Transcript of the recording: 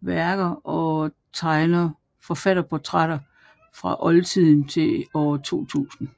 værker og tegner forfatterportrætter fra oldtiden til år 2000